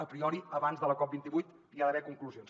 a priori abans de la cop28 hi ha d’haver conclusions